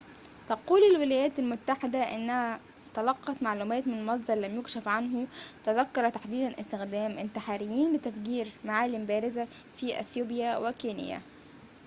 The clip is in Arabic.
تقول الولايات المتّحدة إنها تلقّت معلوماتٍ من مصدرٍ لم يُكشف عنه تذكر تحديدًا استخدام انتحاريين لتفجير معالم بارزة في إثيوبيا وكينيا